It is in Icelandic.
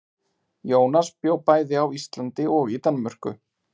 Jónas bjó bæði á Íslandi og í Danmörku.